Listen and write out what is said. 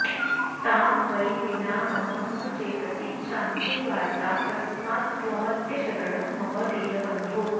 तां वै विना मम न चेतसि शान्तिवार्ता तस्मात्त्वमद्यशरणं मम दीनबन्धो